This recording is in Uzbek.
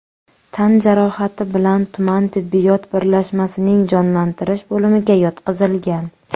tan jarohati bilan tuman tibbiyot birlashmasining jonlantirish bo‘limiga yotqizilgan.